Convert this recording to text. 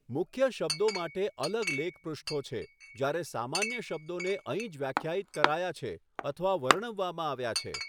મુખ્ય શબ્દો માટે અલગ લેખ પૃષ્ઠો છે, જ્યારે સામાન્ય શબ્દોને અહીં જ વ્યાખ્યાયિત કરાયા છે અથવા વર્ણવવામાં આવ્યા છે.